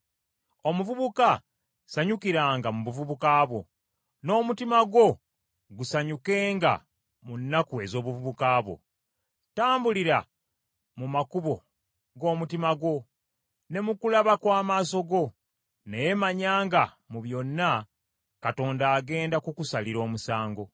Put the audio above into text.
Omuvubuka sanyukiranga mu buvubuka bwo, n’omutima gwo gusanyukenga mu nnaku ez’obuvubuka bwo; tambulira mu makubo g’omutima gwo ne mu kulaba kw’amaaso go. Naye manya nga mu byonna, Katonda agenda kukusalira omusango.